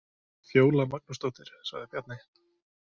Fjóla Magnúsdóttir, sagði Bjarni.